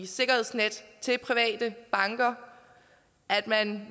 sikkerhedsnet til private banker at man